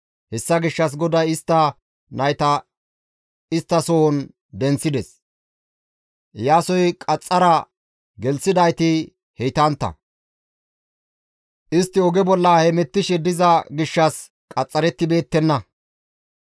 Hessa gishshas GODAY istta nayta isttasohon denththides; Iyaasoy qaxxara gelththidayti heytantta; istti oge bolla hemettishe diza gishshas qaxxarettibeettenna.